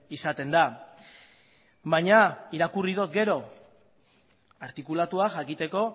izaten da baina irakurri dut gero artikulatua jakiteko